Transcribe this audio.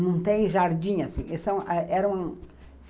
Não tem jardim assim.